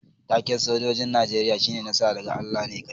Taken' sojoji'n Nijeriya shine "Nasara daga Allah ne kadai."